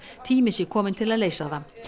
tími sé kominn til að leysa það